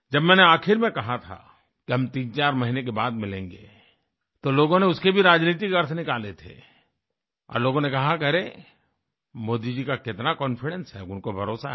जब मैंने आखिर में कहा था कि हम तीनचार महीने के बाद मिलेंगे तो लोगों ने उसके भी राजनीतिक अर्थ निकाले थे और लोगों ने कहा कि अरे मोदी जी का कितना कॉन्फिडेंस है उनको भरोसा है